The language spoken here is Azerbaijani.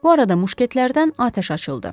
Bu arada muşketlərdən atəş açıldı.